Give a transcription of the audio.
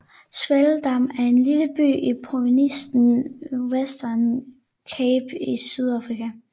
Swellendam er en lille by i provinsen Western Cape i Sydafrika